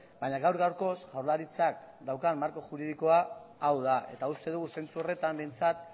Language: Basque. baina gaur gaurkoz jaurlaritzak daukan marko juridikoa hau da eta uste dugu zentzu horretan behintzat